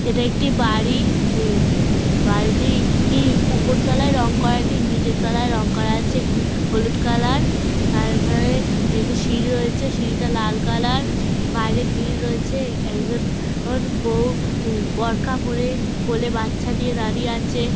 এটা একটি বাড়ি উম-ম বাড়িটি ইর উপরতলায় রং করা নেই নিচের তোলাই রং করা আছে গু হলুদ কালার এখানে একটি সিঁড়ি রয়েছে সিঁড়িটা লাল কালার বাইরে গ্রিল রয়েছে একজন বৌ বড়খা পড়ে কোলে বাচ্চা নিয়ে দাঁড়িয়ে আছে |